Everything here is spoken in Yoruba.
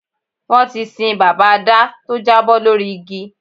Wọ́n ti sin bàbá Adá tó jábọ́ lórí igi